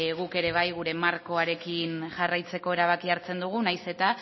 guk ere bai gure markoarekin jarraitzeko erabakia hartzen dugu nahiz eta